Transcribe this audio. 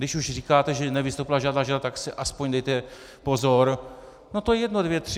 Když už říkáte, že nevystoupila žádná žena, tak si aspoň dejte pozor - No to je jedno, dvě tři.